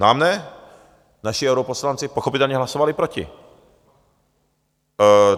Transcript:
Nám ne, naši europoslanci pochopitelně hlasovali proti.